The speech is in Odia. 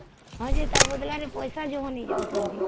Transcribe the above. ହଁ ଯେ ତାର ବଦଲା ରେ ପଇସା ଯଉ ନେହି ଯାଉଛନ୍ତି